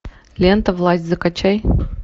лента власть закачай